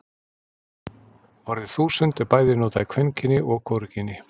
orðið þúsund er bæði notað í kvenkyni og hvorugkyni